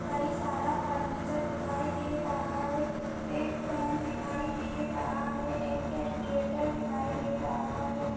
कई सारा फर्नीचर दिखाई दे रहा है। एक फैन दिखाई दे रहा है एक कैल्क्युलेटर दिखाई दे रहा है।